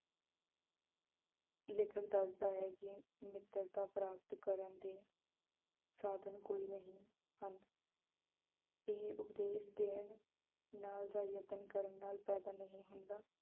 ਲੇਖਕ ਦੱਸਦਾ ਹੈ ਕਿ ਮਿੱਤਰਤਾ ਪ੍ਰਾਪਤ ਕਰਨ ਦੇ ਸਾਧਨ ਕੋਈ ਨਹੀਂਂ ਹਨ ਇਹ ਉਪਦੇਸ਼ ਦੇਣ ਨਾਲ ਜਾਂ ਯਤਨ ਕਰਨ ਨਾਲ ਪੈਦਾ ਨਹੀਂ ਹੁੰਦਾ।